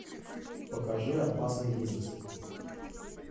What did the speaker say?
покажи опасный бизнес